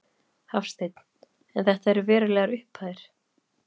Hafsteinn: En þetta eru verulegar upphæðir?